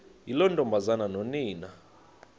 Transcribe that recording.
yiloo ntombazana nonina